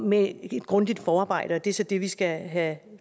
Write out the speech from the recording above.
med et grundigt forarbejde og det er så det vi skal have